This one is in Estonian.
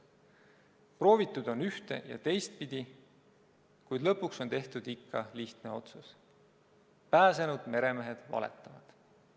Proovitud on ühte- ja teistpidi, kuid lõpuks on tehtud ikka lihtne otsus: pääsenud meremehed valetavad.